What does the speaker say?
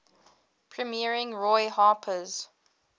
premiering roy harper's